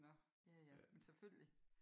Nå ja ja men selvfølgelig